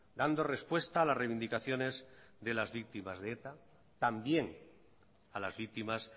dando respuesta a las reivindicaciones de las víctimas de eta también a las víctimas